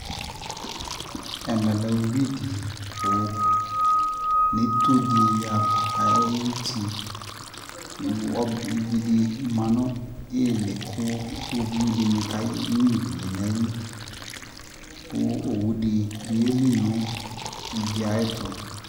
ɛmɛ lɛ ʋwi dili kʋ nʋ itɔɔ di ayiti, ivi di manʋ ili kʋ iwɔviʋ dini kɛ nyʋa iviɛ nʋayili kʋ ɔwʋ dibi yɛli nʋ iviɛ ayɛtʋ